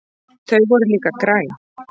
Þau voru líka græn.